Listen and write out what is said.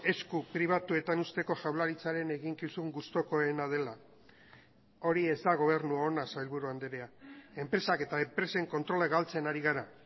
esku pribatuetan uzteko jaurlaritzaren eginkizun gustukoena dela hori ez da gobernu ona sailburu andrea enpresak eta enpresen kontrola galtzen ari gara